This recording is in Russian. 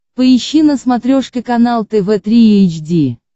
поищи на смотрешке канал тв три эйч ди